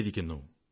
കണ്ടിരിക്കുന്നു